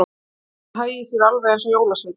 Að hann hagaði sér alveg eins og jólasveinn.